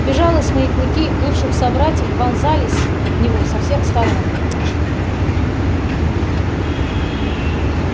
безжалостные клыки бывших собратьев вонзались в него со всех сторон